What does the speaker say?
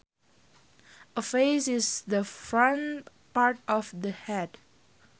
A face is the front part of the head